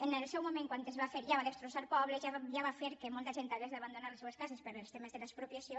en el seu moment quan es va fer ja va destrossar pobles ja va fer que molta gent hagués d’abandonar les seues cases pels temes de l’expropia·ció